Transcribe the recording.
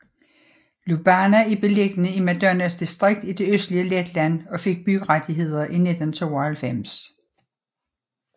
Lubāna er beliggende i Madonas distrikt i det østlige Letland og fik byrettigheder i 1992